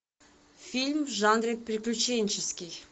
фильм в жанре приключенческий